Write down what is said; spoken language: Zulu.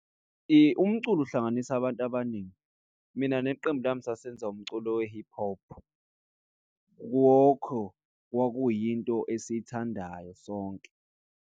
Umculo uhlanganisa abantu abaningi. Mina neqembu lami sasenza umculo we-hip hop. Wokho kwakuyinto esithandayo sonke.